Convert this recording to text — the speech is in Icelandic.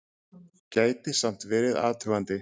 Gæti samt verið athugandi!